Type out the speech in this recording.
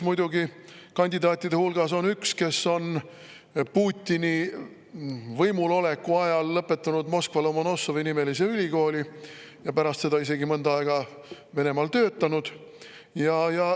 Muidugi on kandidaatide hulgas üks, kes on Putini võimuloleku ajal lõpetanud Moskva Lomonossovi-nimelise ülikooli ja pärast seda isegi mõnda aega Venemaal töötanud.